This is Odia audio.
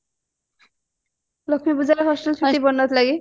ଲକ୍ଷ୍ମୀ ପୂଜାରେ hostel ଛୁଟି ପଡିନଥିଲା କି